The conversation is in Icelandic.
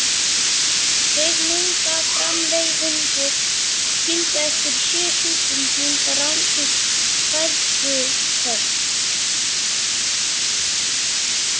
Kvikmyndaframleiðendurnir, skildir eftir í sjö súpum, fengu rándýr hræðsluköst.